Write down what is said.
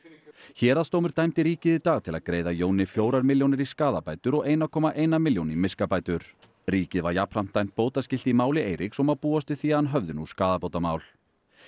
héraðsdómur dæmdi ríkið í dag til að greiða Jóni fjórar milljónir í skaðabætur og eina komma eina milljón í miskabætur ríkið var jafnframt dæmt bótaskylt í máli Eiríks og má búast við því að hann höfði nú skaðabótamál